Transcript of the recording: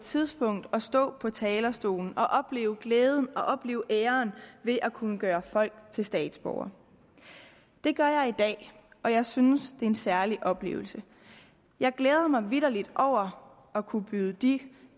tidspunkt at stå på talerstolen og opleve glæden og opleve æren ved at kunne gøre folk til statsborgere det gør jeg i dag og jeg synes det er en særlig oplevelse jeg glæder mig vitterlig over at kunne byde de